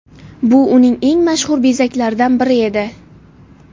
Bu uning eng mashhur bezaklaridan biri edi.